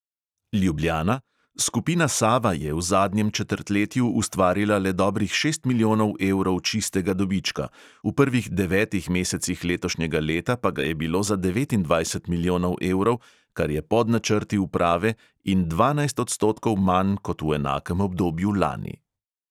Ljubljana; skupina sava je v zadnjem četrtletju ustvarila le dobrih šest milijonov evrov čistega dobička, v prvih devetih mesecih letošnjega leta pa ga je bilo za devetindvajset milijonov evrov, kar je pod načrti uprave in dvanajst odstotkov manj kot v enakem obdobju lani.